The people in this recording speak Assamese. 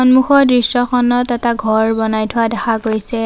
সন্মুখৰ দৃশ্যখনত এটা ঘৰ বনাই থোৱা দেখা গৈছে।